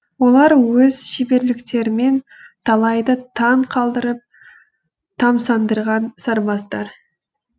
олар өз шеберліктерімен талайды таң қалдырып тамсандырған сарбаздар